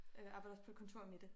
Øh arbejder også på et kontor med det